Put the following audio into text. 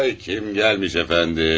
Kim gəlmiş, əfəndim?